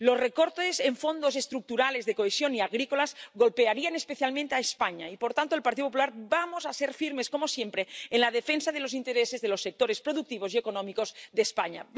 Los recortes en Fondos Estructurales, Fondos de Cohesión y fondos agrícolas golpearían especialmente a España y, por tanto, el Partido Popular, vamos a ser firmes, como siempre, en la defensa de los intereses de los sectores productivos y económicos de España.